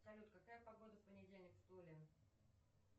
салют какая погода в понедельник в туле